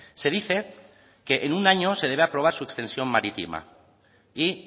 se dice que en un año se debe probar suspensión marítima y